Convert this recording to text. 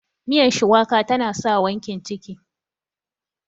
miyar shuwaka tana sa wankin ciki